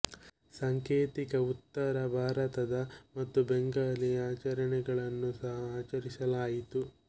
ಸಾಂಕೇತಿಕ ಉತ್ತರ ಭಾರತದ ಮತ್ತು ಬೆಂಗಾಲಿ ಆಚರೆಗಳನ್ನು ಸಹ ಆಚರಿಸಲಾಯಿತು